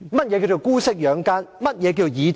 甚麼是姑息養奸？